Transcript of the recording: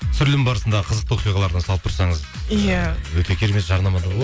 түсірілім барысында қызықты оқиғалардан салып тұрсаңыз иә ыыы өте керемет жарнама да болады